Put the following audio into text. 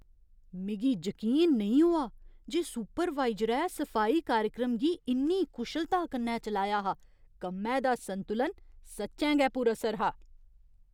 मिगी जकीन नेईं होआ जे सुपरवाइजरै सफाई कार्यक्रम गी इन्नी कुशलता कन्नै चलाया हा! कम्मै दा संतुलन सच्चैं गै पुरअसर हा।